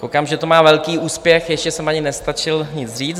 Koukám, že to má velký úspěch, ještě jsem ani nestačil nic říct.